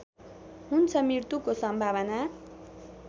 हुन्छ मृत्युको सम्भावना